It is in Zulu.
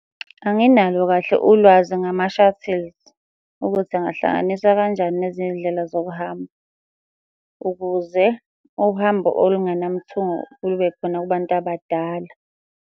Anginalo kahle ulwazi ngama-shuttles ukuthi angahlanganiswa kanjani nezinye iy'ndlela zokuhamba ukuze uhambo olungenamithungo lube khona kubantu abadala.